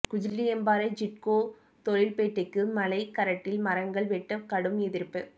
குஜிலியம்பாறை சிட்கோ தொழில்பேட்டைக்கு மலைக் கரட்டில் மரங்கள் வெட்ட கடும் எதிர்ப்பு